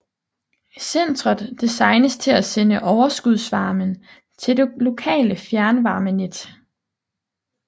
Centret designes til at sende overskudsvarmen til det lokale fjernvarmenet